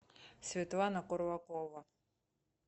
светлана курлакова